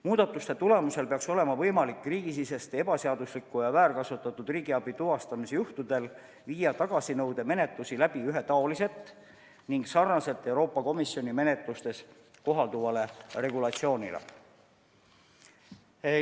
Muudatuste tulemusel peaks olema võimalik riigisisese ebaseadusliku ja väärkasutatud riigiabi tuvastamise korral viia tagasinõudemenetlus läbi ühetaoliselt ning vastavalt Euroopa Komisjoni menetluses kohalduvale regulatsioonile.